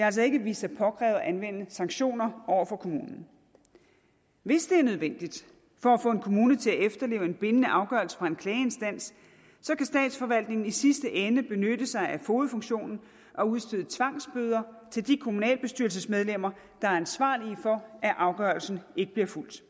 altså ikke vist sig påkrævet at anvende sanktioner over for kommunen hvis det er nødvendigt for at få en kommune til at efterleve en bindende afgørelse fra en klageinstans kan statsforvaltningen i sidste ende benytte sig af fogedfunktionen og udstede tvangsbøder til de kommunalbestyrelsesmedlemmer der er ansvarlige for at afgørelsen ikke bliver fulgt